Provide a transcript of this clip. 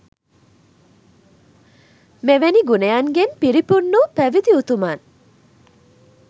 මෙවැනි ගුණයන්ගෙන් පිරිපුන් වූ පැවිදි උතුමන්